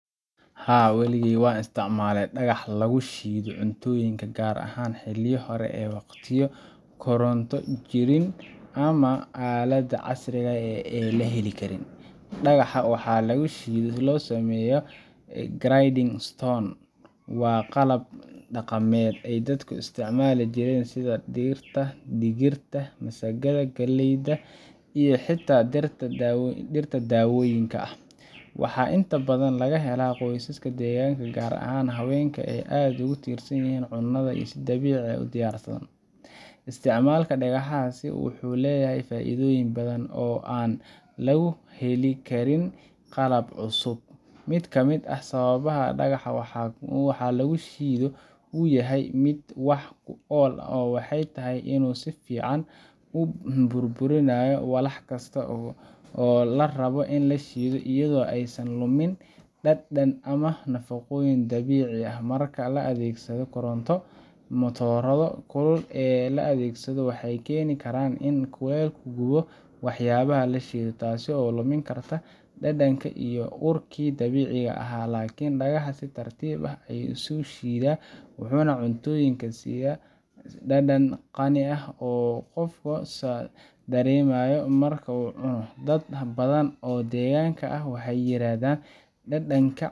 Haa, weligay waan isticmaalay dhagax lagu shiido cuntooyinka, gaar ahaan xilliyo hore iyo waqtiyo aan koronto jirin ama aaladaha casriga ah la heli karin. Dhagaxa wax lagu shiido ee loo yaqaanno grinding stone waa qalab dhaqameed ay dadka ku isticmaali jireen shiididda dhirta, digirta, masagada, galleyda iyo xitaa dhirta daawooyinka ah. Waxaa inta badan laga helaa qoysaska deegaanka gaar ahaan haweenka oo aad ugu tiirsan in ay cunada si dabiici ah u diyaarsadaan. Isticmaalka dhagaxaasi wuxuu leeyahay faa’iidooyin badan oo aan lagu heli karin qalabka cusub. Mid ka mid ah sababaha ay dhagaxa wax lagu shiido u yahay mid wax ku ool ah waxay tahay inuu si fiican u burburiyaa walax kasta oo la rabo in la shiido iyadoo aysan luminin dhadhanka ama nafaqooyinka dabiiciga ah. Marka la adeegsado koronto, matoorrada kulul ee la adeegsado waxay keeni karaan in kulaylku gubo waxyaabaha la shiidayo, taas oo lumin karta dhadhankii iyo urkii dabiiciga ahaa. Laakiin dhagaxa si tartiib ah ayuu u shiidaa, wuxuuna cuntooyinka siiyaa dhadhan qani ah oo uu qofka dareemayo marka uu cuno. Dad badan oo deegaanka ah waxay yiraahdaan dhadhanka